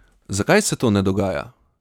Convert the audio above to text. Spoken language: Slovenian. Zakaj se to ne dogaja?